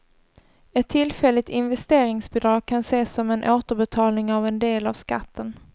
Ett tillfälligt investeringsbidrag kan ses som en återbetalning av en del av skatten.